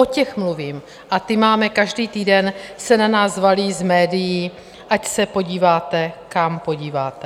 O těch mluvím a ty máme, každý týden se na nás valí z médií, ať se podíváte, kam podíváte.